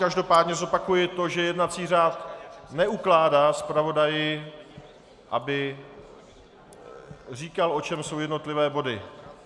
Každopádně zopakuji to, že jednací řád neukládá zpravodaji, aby říkal, o čem jsou jednotlivé body.